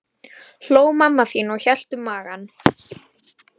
hló mamma þín og hélt um magann.